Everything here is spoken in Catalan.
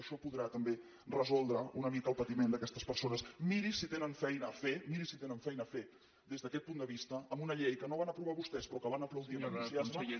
això podrà també resoldre una mica el patiment d’aquestes personesmiri si tenen feina a fer miri si tenen feina a fer des d’aquest punt de vista amb una llei que no van aprovar vostès però que van aplaudir amb entusiasme